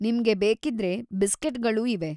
ನಿಮ್ಗೆ ಬೇಕಿದ್ರೆ ಬಿಸ್ಕೆಟ್‌ಗಳೂ ಇವೆ.